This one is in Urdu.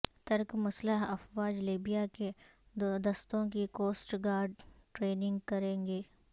ترک مسلح افواج لیبیا کے دستوں کی کوسٹ گارڈ ٹریننگ کرے گی